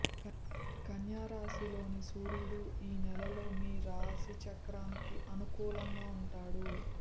కన్యరాశిలోని సూర్యుడు ఈ నెలలో మీ రాశి చక్రానికి అనుకూలంగా ఉంటాడు